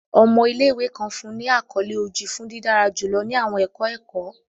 Ọmọ ile-iwe kan fun ni akọle Oji fun didara julọ ni awọn ẹkọ ẹkọ.